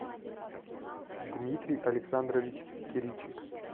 дмитрий александрович киричек